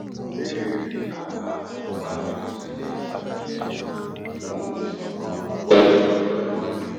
mo béèrè fún àbá nípa bí mo ṣe lè ṣàtìlẹ́yìn fún ìṣọ̀kan wa lọ́jọ́ iwájú